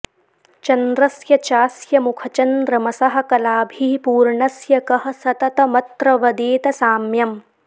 चन्द्रस्य चास्यमुखचन्द्रमसः कलाभिः पूर्णस्य कः सततमत्र वदेत साम्यम्